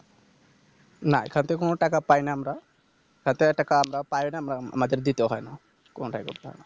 না এখান থেকে কোনো টাকা পাইনা আমরা তাতে পাইনা আম~ আমাদের দিতে হয়না কোনোটাই করতে হয়না